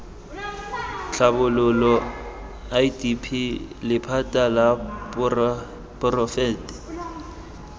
tlhabololo idp lephata la poraefete